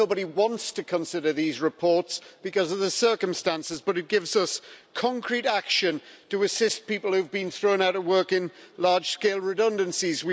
Nobody wants to consider these reports because of the circumstances, but it gives us concrete action to assist people who have been thrown out of work in large scale redundancies.